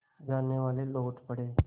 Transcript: जानेवाले लौट पड़े